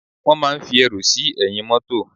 Wón máa ń fi ẹrù sí ẹ̀yìn mótò